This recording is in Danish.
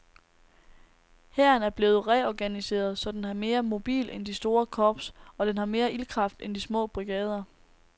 Hæren er blevet reorganiseret, så den er mere mobil end de store korps, og den har mere ildkraft end de små brigader.